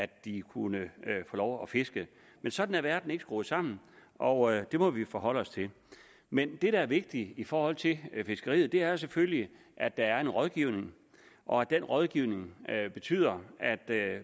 de kunne få lov at fiske men sådan er verden ikke skruet sammen og det må vi forholde os til men det der er vigtigt i forhold til fiskeriet er selvfølgelig at der er en rådgivning og at den rådgivning betyder at